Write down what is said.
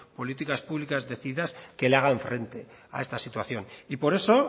políticas públicas decididas que le hagan frente a esta situación y por eso